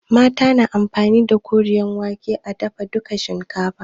Mata na amfani da koren wake a dafa dukan shinkafa.